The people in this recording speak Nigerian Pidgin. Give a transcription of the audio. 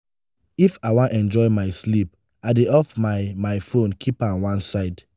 if i wan enjoy my sleep i dey off my my fone keep am one side.